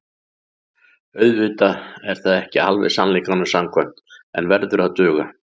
Auðvitað er það ekki alveg sannleikanum samkvæmt en verður að duga.